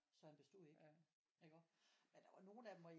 Så han bestod jo ikke iggå men der var nogle af dem hvor